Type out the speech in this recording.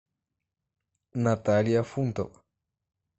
наталья фунтова